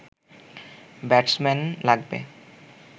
batsman লাগবে